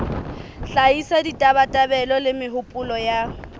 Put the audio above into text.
hlahisa ditabatabelo le mehopolo ya